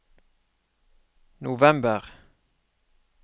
november